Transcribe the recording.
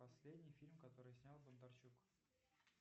последний фильм который снял бондарчук